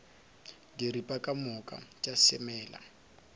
diripa ka moka tša semela